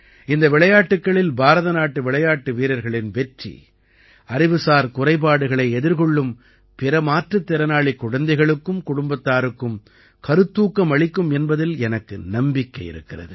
இந்த விளையாட்டுக்களில் பாரத நாட்டு விளையாட்டு வீரர்களின் வெற்றி அறிவுசார் குறைபாடுகளை எதிர்கொள்ளும் பிற மாற்றுத் திறனாளிக் குழந்தைகளுக்கும் குடும்பத்தாருக்கும் கருத்தூக்கம் அளிக்கும் என்பதில் எனக்கு நம்பிக்கை இருக்கிறது